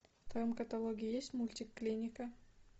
в твоем каталоге есть мультик клиника